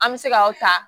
An bɛ se ka o ta